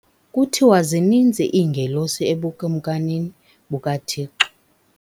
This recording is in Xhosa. Kuthiwa zininzi iingelosi ebukumkanini bukaThixo.